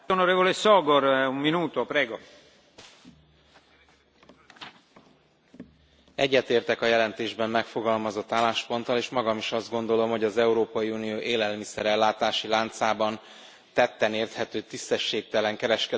Egyetértek a jelentésben megfogalmazott állásponttal és magam is azt gondolom, hogy az Európai Unió élelmiszer ellátási láncában tetten érhető tisztességtelen kereskedelmi gyakorlatok megszüntetése érdekében jogszabályi eszközökkel kell fellépnünk.